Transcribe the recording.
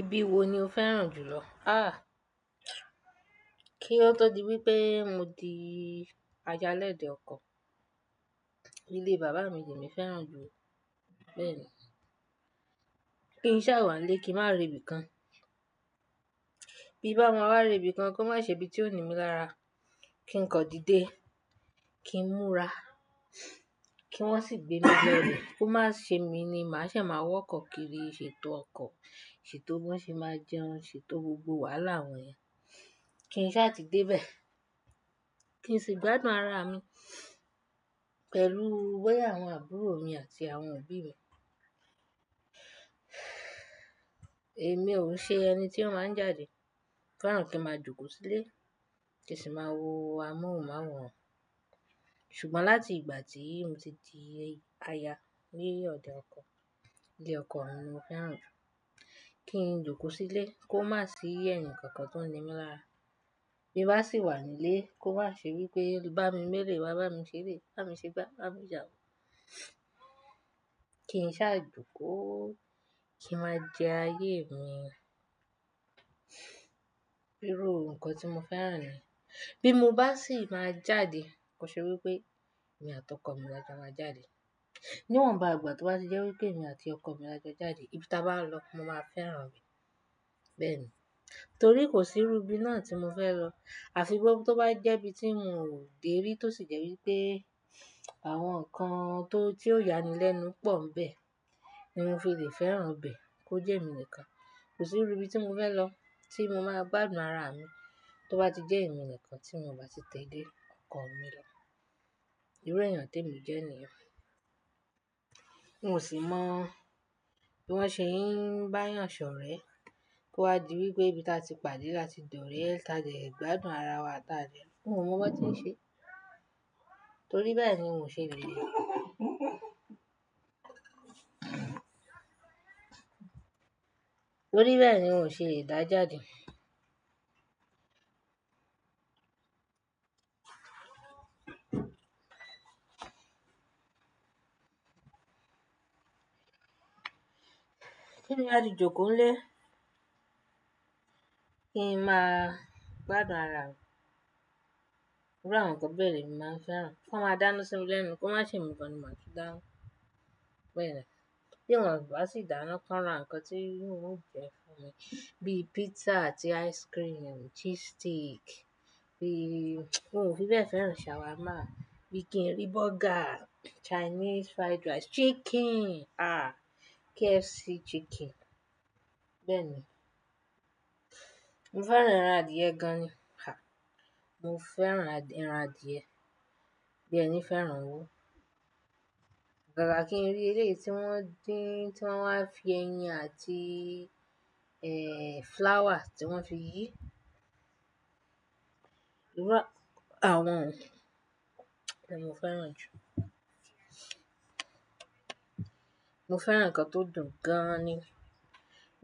Ibi wo ni o fẹ́ràn jùlọ? Ah! Kí ó tó di wípé mo di ayá lẹ́dẹ̀ ọkọ̀, ilé bàbá mi ni mo fẹ́ràn jù bẹ́ẹ̀ni. Kí n sá wà nílé kí n má re ibi kan, bí n bá ma wa re ibi kan kó má ṣe ibi tí ó ní mí lára, kí n kan dídé, kí n múra, kí wọ́n sì gbé mi lo bẹ́ẹ̀, kó má ṣe mí ni màá ṣe máa wa ọkọ̀ kiri ṣe tó ọkọ̀, ṣe tó bọ́ ṣe máa jẹun, ṣe tó gbogbo wàhálà àwọn yẹn, kí n sá ti dé bẹ́ẹ̀, kí n sì gbádùn ara mi pẹ̀lú boya àwọn àbúrò mi àti àwọn òbí mi. Èmi òun ṣe ẹni tí ó má ń jáde, mo feran kí n máa jókòó sílé, kì í sì máa wo amóhùnmáwòrán. Ṣùgbọ́n láti ìgbà tí mo ti di aya ni ọdẹ ọkọ̀, ilé ọkọ mi ni mo fẹ́ràn jù. Kí n jókòó sílé kó má sì eni kan kan tó ń ní mí lára. Bí n bá sì wà nílé kó má ṣe wípé bá mi mu eleyi wá, bá mi se eleyi, bá mi ṣe gbá, bá mi se awo. Kí n sá jókòó kí n ma jẹ ayé mi íru nǹkan tí mo fẹ́ràn ni. Bí mo bá sì máa jáde kó ṣe wípé èmi àti ọkọ mi la jọ máa jáde. Niwọn ba ìgbà tó bá ti jẹ́ wípé èmi àti ọkọ mi la jọ jáde, ibi táa bá n lọ mo máa fẹ́ràn ibe, bẹ́ẹ̀ni. Torí kò sí irú ibi náà tí mo fẹ́ lọ. Àfi tó bá jẹ́ ibi tí n ò dé rí tó sì jẹ́ wípé àwọn ǹkan tó, tí ó yani lẹ́nu pọ̀ ńi bẹ ni mo fi lè fẹ́ràn bẹ́ẹ̀ kó jẹ́ emi nìkan. Kò sí irú ibi tí mo fẹ́ lọ tí mo máa gbádùn ara mi tó bá ti jẹ́ èmi nìkan tí mio bá ti tẹ́lẹ̀ ọkọ mi lọ. Irú èèyàn tí èmi jẹ́ ni. N ò sì mọ̀ bí wọ́n ṣe ń bá yàn ṣọ̀rẹ́ kó a di wípé ibi táa ti pàdé láti dọ́rẹ̀ẹ́, táa jẹ gbádùn ara wa, táa dẹ, n ò mọ bí wọ́n ti ń ṣe. Torí bẹ́ẹ̀ ni n ò ṣe le ri Torí bẹ́ẹ̀ ni n ò ṣe dáa jade ti n ba ti jókòó nílé, kí n máa gbádùn ara mi. Iru nǹkan bẹ́ẹ̀ lemi màá n fẹ́ràn. Kó máa dáná sími lẹ́nu, kó má ṣe emi nikan ni màá tún dana, bẹ́ẹ̀ni. Kí wọn bá sì dáná ki won ran nǹkan tí n ò jẹ fún mi bí pizza àti ice cream, cheese stick, n o fi bẹ́ẹ̀ fẹ́ràn shawarma, bí kí n rí burger, Chinese fried rice, chicken ah! KFC chicken bẹ́ẹ̀ni. Mo fẹ́ràn ẹran adìẹ gan ni, ha! Mo fẹ́ràn ẹran adìẹ. Bí ẹní fẹ́ràn owó. Agágà kí n rí eleyii tí wọ́n dín, tí wọ́n wá fi ẹyin àti, eh, flowers tí wọ́n fi yí. Iru àwọn-ohun, ni mo fẹ́ràn jù. Mo fẹ́ràn nǹkan tó dùn gan ni.